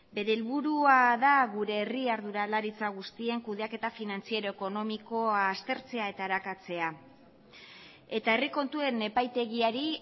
bere helburua da gure herri arduralaritza guztien kudeaketa finantziero ekonomikoa aztertzea eta arakatzea eta herri kontuen epaitegiari